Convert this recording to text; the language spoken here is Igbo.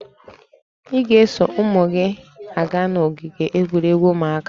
Ị ga-eso ụmụ gị aga n'ogige egwuregwu ụmụaka?